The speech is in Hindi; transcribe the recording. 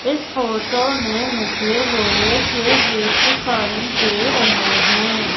इस फोटो में मुझे लोहे के गेट दिखाई दे रहे हैं।